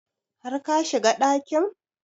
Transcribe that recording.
Har ka shiga ɗakin?